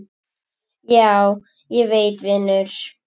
Já, ég veit vinur.